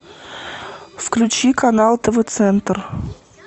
включи канал тв центр